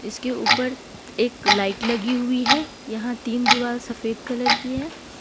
उसके ऊपर एक लाइट लगी हुई है यहां तीन दीवाल सफेद कलर की है ।